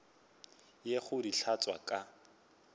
ye go di hlatswa ka